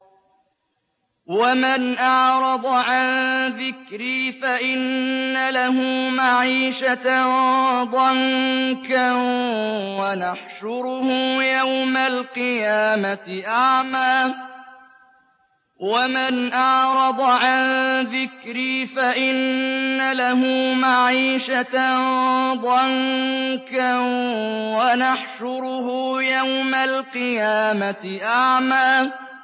وَمَنْ أَعْرَضَ عَن ذِكْرِي فَإِنَّ لَهُ مَعِيشَةً ضَنكًا وَنَحْشُرُهُ يَوْمَ الْقِيَامَةِ أَعْمَىٰ